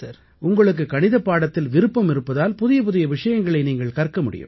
உங்களுக்குக் கணிதப்பாடத்தில் விருப்பம் இருப்பதால் புதிய புதிய விஷயங்களை நீங்கள் கற்க முடியும்